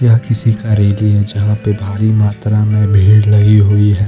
यह किसी का रैली है जहाँ पे भारी मात्रा में भीड़ लगी हुई है।